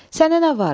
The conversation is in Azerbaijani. Sənə nə var?